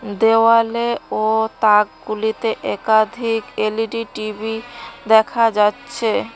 দেওয়ালে ও তাকগুলিতে একাধিক এল_ই_ডি টি_বি দেখা যাচ্ছে।